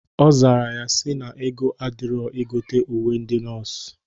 Ọ zara ya sị na ego adịrọ igote uwe ndị nọọsụ.